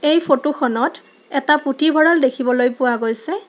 এই ফটোখনত এটা পুথিভঁৰাল দেখিবলৈ পোৱা গৈছে।